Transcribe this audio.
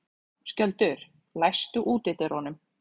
Skjöldur, læstu útidyrunum.